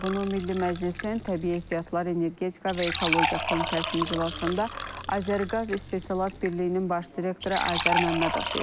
Bunu Milli Məclisin Təbii Ehtiyatlar, Energetika və Ekologiya komitəsinin iclasında Azərqaz İstehsalat Birliyinin baş direktoru Azər Məmmədov deyib.